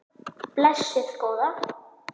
Blessuð góða.